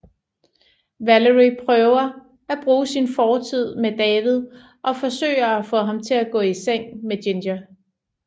Valerie prøver at bruge sin fortid med David og forsøger at få ham til at gå i seng med Ginger